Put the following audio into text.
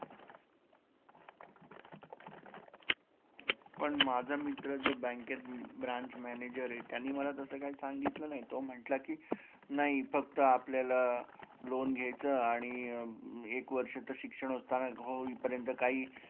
पण माझा मित्र जो बँकेत branch manager आहे, त्याने मला तसे काय सांगितलं नाही तो म्हंटला की नाही फक्त आपल्याला loan घेयचं आणि एक वर्ष तर शिक्षण होताना होईपर्यंत कही